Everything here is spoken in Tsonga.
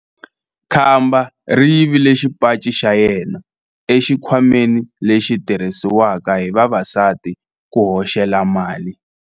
Khamba ri yivile xipaci xa yena exikhwameni lexi xi tirhisiwaka hi vavasati ku hoxela mali.